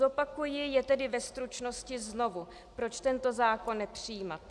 Zopakuji je tedy ve stručnosti znovu, proč tento zákon nepřijímat.